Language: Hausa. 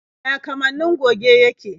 Ya kamannin goge yake?